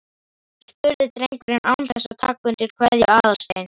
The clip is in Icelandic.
spurði drengurinn án þess að taka undir kveðju Aðalsteins.